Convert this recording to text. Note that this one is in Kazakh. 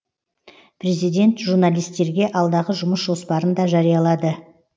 президент журналистерге алдағы жұмыс жоспарын да жариялады